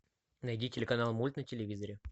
найди телеканал мульт на телевизоре